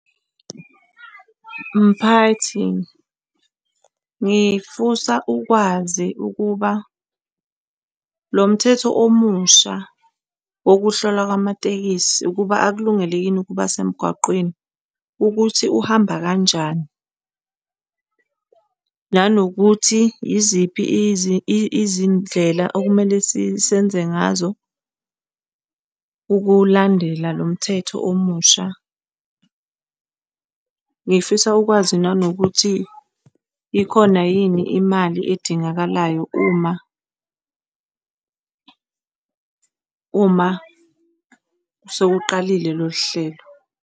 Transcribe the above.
Mphathi, ngifisa ukwazi ukuba lo mthetho omusha wokuhlola kwamatekisi ukuba akulungele yini ukuba semgwaqweni ukuthi uhamba kanjani nanokuthi yiziphi izindlela okumele senze ngazo ukuwulandela lo mthetho omusha. Ngifisa ukwazi nanokuthi ikhona yini imali edingakalayo uma uma sekuqalile lolu hlelo.